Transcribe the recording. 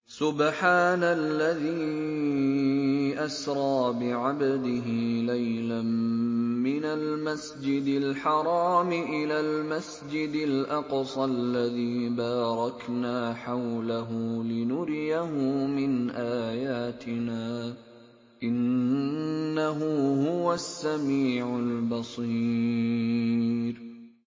سُبْحَانَ الَّذِي أَسْرَىٰ بِعَبْدِهِ لَيْلًا مِّنَ الْمَسْجِدِ الْحَرَامِ إِلَى الْمَسْجِدِ الْأَقْصَى الَّذِي بَارَكْنَا حَوْلَهُ لِنُرِيَهُ مِنْ آيَاتِنَا ۚ إِنَّهُ هُوَ السَّمِيعُ الْبَصِيرُ